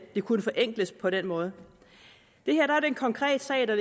kunne forenkles på den måde det er en konkret sag der